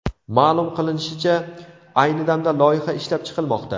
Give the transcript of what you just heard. Ma’lum qilinishicha, ayni damda loyiha ishlab chiqilmoqda.